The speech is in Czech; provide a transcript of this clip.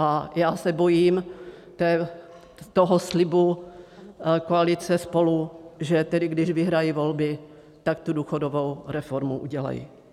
A já se bojím toho slibu koalice SPOLU, že tedy když vyhrají volby, tak tu důchodovou reformu udělají.